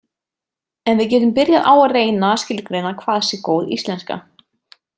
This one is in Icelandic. En við getum byrjað á að reyna að skilgreina hvað sé góð íslenska.